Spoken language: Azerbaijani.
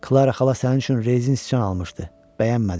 Klara xala sənin üçün rezin sıçan almışdı, bəyənmədin.